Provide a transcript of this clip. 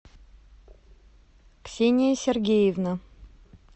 ксения сергеевна